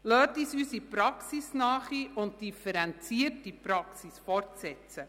Lassen Sie uns unsere praxisnahe und differenzierte Praxis fortsetzen.